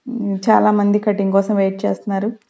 మ్మ్ చాలామంది కటింగ్ కోసం వెయిట్ చేస్తున్నారు.